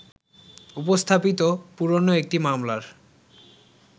উপস্থাপিত পুরোনো একটি মামলার